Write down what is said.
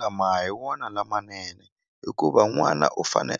lama a hi wona lamanene hikuva n'wana u fane